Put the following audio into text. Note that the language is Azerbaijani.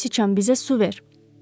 Göy siçan bizə su ver.